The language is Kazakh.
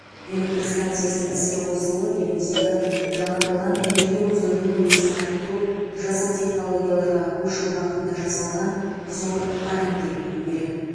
электр станциясының іске қосылуы еліміздегі жаңартылған энергия көздерінің үлесін арттыру жасыл технологияларға көшу бағытында жасалған зор қадам деп білу керек